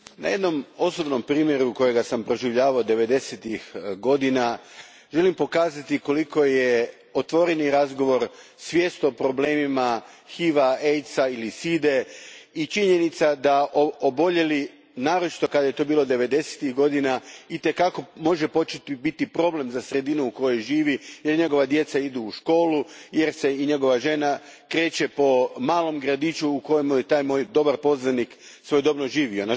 Gospodine predsjedniče, na jednom osobnom primjeru kojega sam proživljavao devedesetih godina želim pokazati koliko je otvoreni razgovor, svijest o problemima HIV a, AIDS a ili side i činjenica da oboljeli, naročito kad je to bilo devedesetih godina, itekako može postati problem za sredinu u kojoj živi, gdje njegova djeca idu u školu, jer se i njegova žena kreće po malom gradiću u kojemu je taj moj dobar poznanik svojedobno živio.